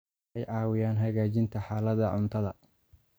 Waxay caawiyaan hagaajinta xaaladda cuntada.